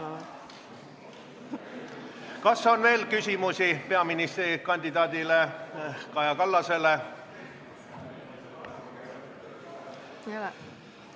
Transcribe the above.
Kas on veel küsimusi peaministrikandidaat Kaja Kallasele?